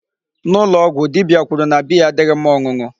N'ụlọ ọgwụ, dibia kwuru na beer adịghị mma ọṅụṅụ.